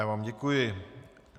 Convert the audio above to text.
Já vám děkuji.